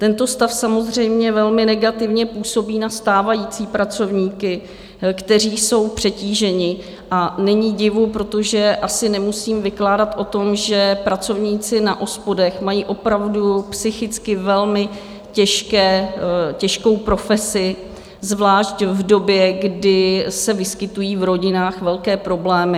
Tento stav samozřejmě velmi negativně působí na stávající pracovníky, kteří jsou přetíženi, a není divu, protože asi nemusím vykládat o tom, že pracovníci na OSPODech mají opravdu psychicky velmi těžkou profesi, zvlášť v době, kdy se vyskytují v rodinách velké problémy.